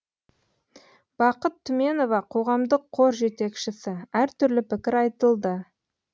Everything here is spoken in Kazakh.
бақыт түменова қоғамдық қор жетекшісі әртүрлі пікір айтылды